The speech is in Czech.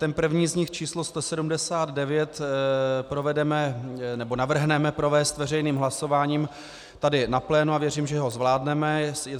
Ten první z nich, číslo 179, navrhneme provést veřejným hlasováním tady na plénu a věřím, že ho zvládneme.